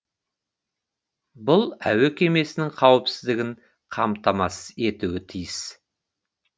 бұл әуе кемесінің қауіпсіздігін қамтамасыз етуі тиіс